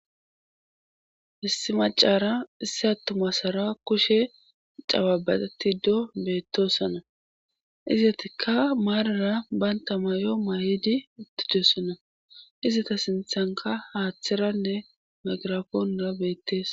issi macara isse attumasara kushe cababaatiddo beettossana izatikka maarara banta mayo mayidi ittidoossana izata sinthanka haaththeranne magirafoonura beettees